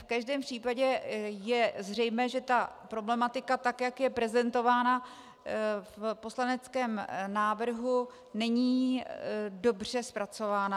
V každém případě je zřejmé, že ta problematika, tak jak je prezentovaná v poslaneckém návrhu, není dobře zpracovaná.